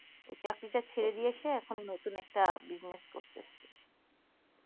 ওই চাকরি টা ছেড়ে দিয়ে এসে এখন নতুন একটা busniess করতেছে